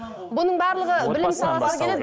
бұның барлығы білім саласына келеді